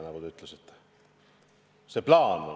Aga see plaan on.